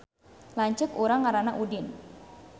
Lanceuk urang ngaranna Udin